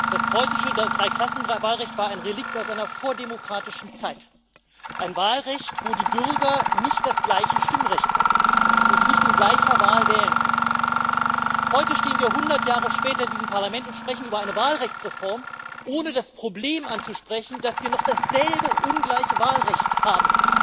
Das preußische Dreiklassenwahlrecht war ein Relikt aus einer vordemokratischen Zeit, ein Wahlrecht, wo die Bürger nicht das gleiche Stimmrecht hatten, wo sie nicht in gleicher Wahl wählen konnten. Heute stehen wir 100 Jahre später diesem Parlament und sprechen über eine Wahlrechtsreform, ohne das Problem anzusprechen, dass wir in Europa noch dasselbe ungleiche Wahlrecht haben.